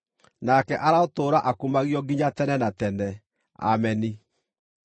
nake arotũũra akumagio nginya tene na tene. Ameni.